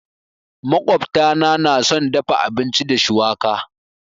Makwabta na nà son dafa abinci da shuwaka.